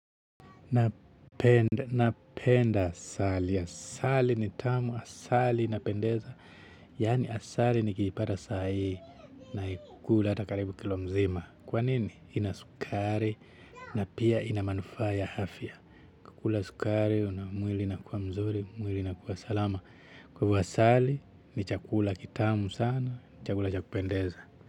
Napenda asali. Asali ni tamu. Asali inapendeza. Yaani asali nikiipata saa hii naikula hata karibu kilo mzima. Kwa nini? Ina sukari na pia ina manufaa ya afya. Kukula sukari na mwili inakuwa mzuri. Mwili nakuwa salama. Kwa hivo asali ni chakula kitamu sana. Chakula cha kupendeza.